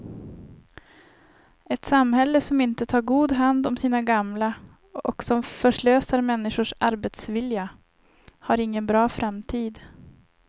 Ett samhälle som inte tar god hand om sina gamla och som förslösar människors arbetsvilja har ingen bra framtid.